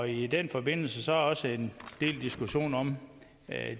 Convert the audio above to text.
i den forbindelse er der også en del diskussion om